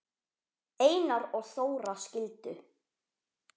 Einar og Þóra skildu.